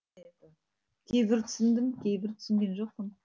кейбірін түсіндім кейбірін түсінген жоқпын